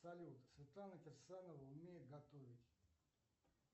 салют светлана кирсанова умеет готовить